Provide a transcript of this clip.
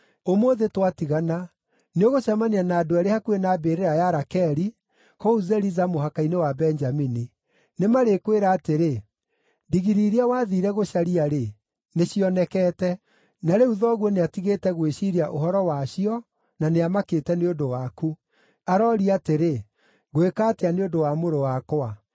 Ũmũthĩ twatigana, nĩũgũcemania na andũ eerĩ hakuhĩ na mbĩrĩra ya Rakeli, kũu Zeliza mũhaka-inĩ wa Benjamini. Nĩmarĩkwĩra atĩrĩ, ‘Ndigiri iria wathiire gũcaria-rĩ, nĩcionekete. Na rĩu thoguo nĩatigĩte gwĩciiria ũhoro wacio na nĩamakĩte nĩ ũndũ waku. Aroria atĩrĩ, “Ngwĩka atĩa nĩ ũndũ wa mũrũ wakwa?” ’